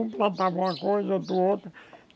Um plantava uma coisa, outro outra.